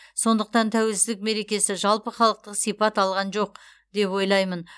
сондықтан тәуелсіздік мерекесі жалпыхалықтық сипат алған жоқ деп ойлаймын